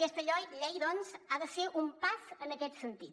aquesta llei doncs ha de ser un pas en aquest sentit